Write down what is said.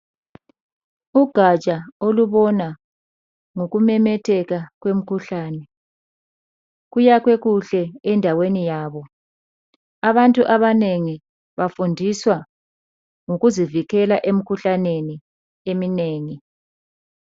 Ugatsha olubona ngokumemetheka kwemikhuhlane, kuyakhwe kuhle endaweni yabo. Abantu abanengi bafundiswa ngokuzivikela emikhuhlaneni eminengi.